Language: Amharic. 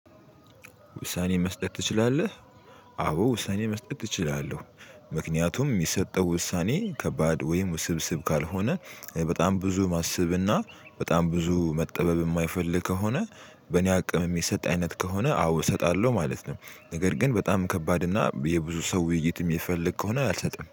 ውሳኔ መስጠት ትችላለህ? አዎ ውሳኔ መስጠት እችላለሁ። ምክንያቱም የሚሰጠው ውሳኔ ከባድ ወይም ውስብስብ ካልሆነ በጣም ብዙ ማሰብና በጣም ብዙ መጠበብ የማይፈልግ ከሆነ። በኔ አቅም የሚሰጥ አይነት ከሆነ አዎ እሰጣለሁ ማለት ነው። ነገር ግን በጣም ከባድ እና የብዙ ሰው ውይይት የሚፈልግ ከሆነ አልሰጥም